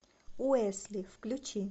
уэсли включи